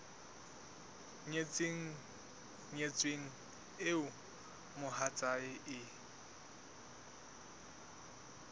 nyetseng nyetsweng eo mohatsae e